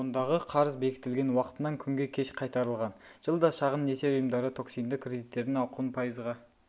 ондағы қарыз бекітілген уақытынан күнге кеш қайтарылған жылда шағын несие ұйымдары токсинді кредиттердің ауқымын пайызға